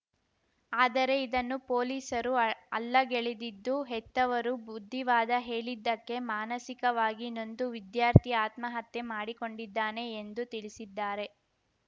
ಆದರೆ ಇದನ್ನು ಪೊಲೀಸರು ಅಲ್ಲಗೆಳೆದಿದ್ದು ಹೆತ್ತವರು ಬುದ್ಧಿವಾದ ಹೇಳಿದ್ದಕ್ಕೆ ಮಾನಸಿಕವಾಗಿ ನೊಂದು ವಿದ್ಯಾರ್ಥಿ ಆತ್ಮಹತ್ಯೆ ಮಾಡಿಕೊಂಡಿದ್ದಾನೆ ಎಂದು ತಿಳಿಸಿದ್ದಾರೆ